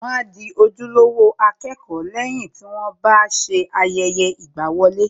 Wọ́n a di ojúlówó akẹ́kọ̀ọ́ lẹ́yìn tí wọ́n bá ṣe ayẹyẹ ìgbàwọlé